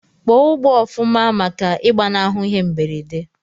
Kpọọ ugbọ ofuma maka igbanahu ihe mberede!!